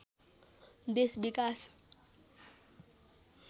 देश विकास